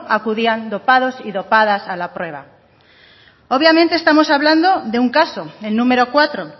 acudían dopados y dopadas a la prueba obviamente estamos hablando de un caso el número cuatro